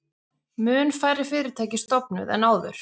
Mun færri fyrirtæki stofnuð en áður